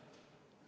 Aitäh!